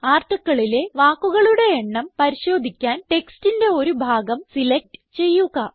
Articleലെ വാക്കുകളുടെ എണ്ണം പരിശോധിക്കാൻ ടെക്സ്റ്റിന്റെ ഒരു ഭാഗം സിലക്റ്റ് ചെയ്യുക